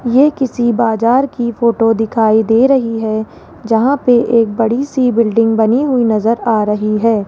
ये किसी बाजार की फोटो दिखाई दे रही है जहां पे एक बड़ी सी बिल्डिंग बनी हुई नजर आ रही है।